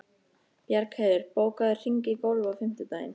Bjargheiður, bókaðu hring í golf á fimmtudaginn.